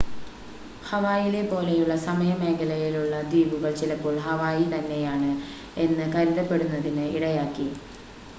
"ഹവായിലെപ്പോലെയുള്ള സമയ മേഖലയിലുള്ള ദ്വീപുകള്‍ ചിലപ്പോള്‍ "ഹവായിതന്നെയാണ്‌" എന്ന് കരുതപ്പെടുന്നതിന്‌ ഇടയാക്കി.